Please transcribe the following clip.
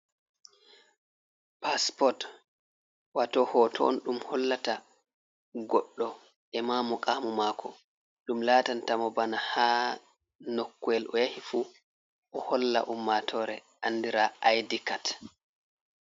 Paspot, wato hoto on ɗum hollata goɗɗo e ma mukamu mako. Ɗum latanta mo bana ha nokkoyel o yahi fu o holla ummatore andira I.D kad.